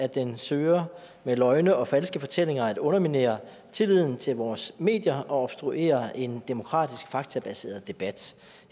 at den søger med løgne og falske fortællinger at underminere tilliden til vores medier og obstruere en demokratisk faktabaseret debat